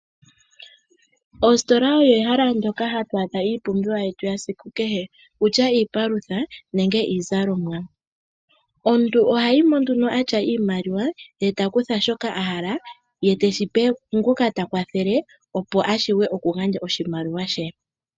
Ostola oyo ehala ndyoka hatwaadha iipumbiwa yetu yesiku kehe kutya iipalutha nenge iizalomwa. Omuntu ohayimo nduno atya iimaliwa e ta kutha shoka a hala ye teshi pe ngoka ta kwathele opo a shuwe oku gandja oshimaliwa she.